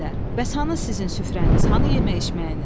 Bəs hanı sizin süfrəniz, hanı yemək-içməyiniz?